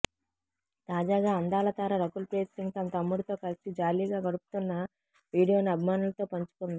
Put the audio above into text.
తాజాగా అందాల తార రకుల్ ప్రీత్ సింగ్ తన తమ్ముడితో కలిసి జాలీగా గడుపుతోన్న వీడియోను అభిమానులతో పంచుకుంది